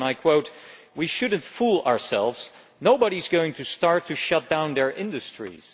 He said We should not fool ourselves nobody is going to start to shut down their industries.'